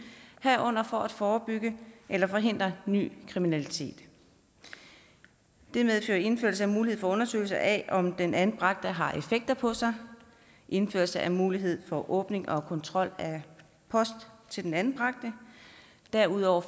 herunder for at forebygge eller forhindre ny kriminalitet det medfører indførelse af mulighed for undersøgelse af om den anbragte har effekter på sig indførelse af mulighed for åbning og kontrol af post til den anbragte derudover